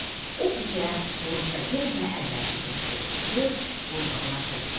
O gecə quru çay yenə də əvvəlki kimi şırıldayır, qurbağalar səslənirdi.